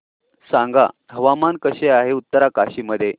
सांगा हवामान कसे आहे उत्तरकाशी मध्ये